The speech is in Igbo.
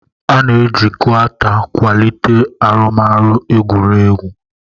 A na-eji Gauta kwalite arụmọrụ egwuregwu.